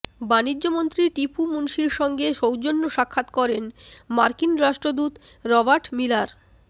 বাণিজ্যমন্ত্রী টিপু মুনশির সঙ্গে সৌজন্য সাক্ষাৎ করেন মার্কিন রাষ্ট্রদূত রবার্ট মিলার